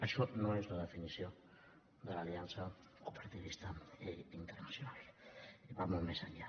això no és la definició de l’aliança cooperativista internacional que va molt més enllà